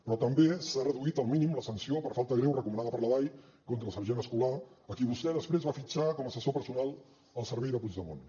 però també s’ha reduït al mínim la sanció per falta greu recomanada per la dai contra el sergent escolà a qui vostè després va fitxar com a assessor personal al servei de puigdemont